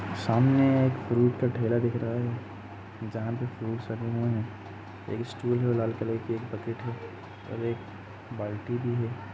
सामने एक फ्रूट का ठेला दिख रहा है जहाँ पे फ्रूट्स हैं। एक स्टूल है और लाल कलर की एक बकेट है और एक बाल्टी भी है।